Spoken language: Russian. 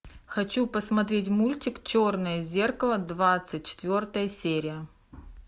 хочу посмотреть мультик черное зеркало двадцать четвертая серия